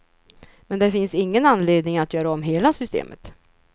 Men det finns ingen anledning att göra om hela systemet.